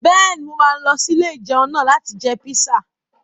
Bẹ́ẹ̀ni, mo máa lọ sí ilé-ìjẹun náà láti jẹ píṣà